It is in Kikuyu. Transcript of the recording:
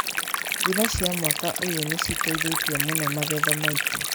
Mbura cia mwaka ũyũ nĩ citeithetie mũno magetha maitũ.